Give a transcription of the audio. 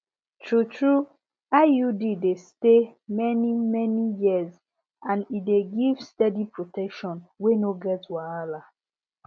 truetrue iud dey stay manymany years and e dey give steady protection wey no get wahala